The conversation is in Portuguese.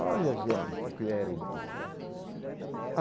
Olha gente, o que era o Brasil.